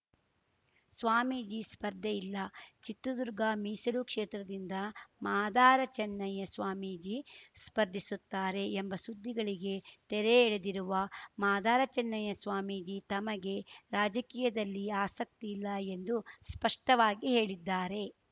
ಸ್ವಾಮೀಜಿ ಸ್ಪರ್ಧೆ ಇಲ್ಲ ಚಿತ್ರದುರ್ಗ ಮೀಸಲು ಕ್ಷೇತ್ರದಿಂದ ಮಾದಾರ ಚನ್ನಯ್ಯಸ್ವಾಮೀಜಿ ಸ್ಪರ್ಧಿಸುತ್ತಾರೆ ಎಂಬ ಸುದ್ದಿಗಳಿಗೆ ತೆರೆ ಎಳೆದಿರುವ ಮಾದಾರಚನ್ನಯ್ಯಸ್ವಾಮೀಜಿ ತಮಗೆ ರಾಜಕೀಯದಲ್ಲಿ ಆಸಕ್ತಿ ಇಲ್ಲ ಎಂದು ಸ್ಪಷ್ಟವಾಗಿ ಹೇಳಿದ್ದಾರೆ